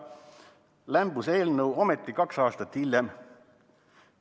Ometi lämbus eelnõu kaks aastat hiljem.